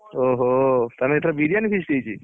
ଓହୋ ତାହେଲେ ଏଥର ବିରିୟାନି feast ହେଇଛି